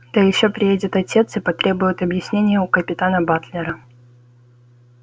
да ещё приедет отец и потребует объяснения у капитана батлера